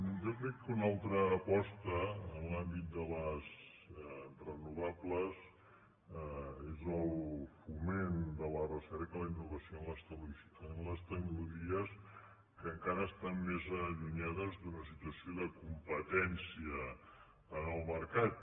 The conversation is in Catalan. jo crec que una altra aposta en l’àmbit de les renovables és el foment de la recerca i la innovació en les tecno·logies que encara estan més allunyades d’una situació de competència en el mercat